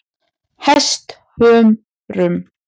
Hesthömrum